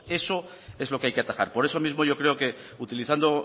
pues eso es lo que hay que atacar por eso mismo yo creo que utilizando